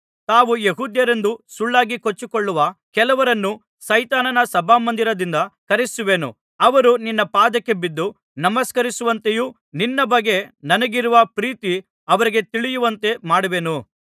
ತಾವು ಯೆಹೂದ್ಯರೆಂದು ಸುಳ್ಳಾಗಿ ಕೊಚ್ಚಿಕೊಳ್ಳುವ ಕೆಲವರನ್ನು ಸೈತಾನನ ಸಭಾಮಂದಿರದಿಂದ ಕರೆಯಿಸುವೆನು ಅವರು ನಿನ್ನ ಪಾದಕ್ಕೆ ಬಿದ್ದು ನಮಸ್ಕರಿಸುವಂತೆಯೂ ನಿನ್ನ ಬಗ್ಗೆ ನನಗಿರುವ ಪ್ರೀತಿ ಅವರಿಗೆ ತಿಳಿಯುವಂತೆ ಮಾಡುವೆನು